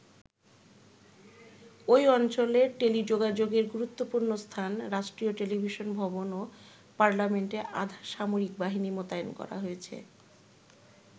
ঐ অঞ্চলের টেলিযোগাযোগের গুরুত্বপূর্ণ স্থান, রাষ্ট্রীয় টেলিভিশন ভবন ও পার্লামেন্টে আধা সামরিক বাহিনী মোতায়েন করা হয়েছে।